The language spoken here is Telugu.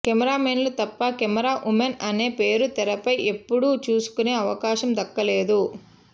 కెమెరామెన్లు తప్ప కెమెరా ఉమెన్ అనే పేరు తెరపై ఎప్పుడూ చూసుకునే అవకాశం దక్కలేదు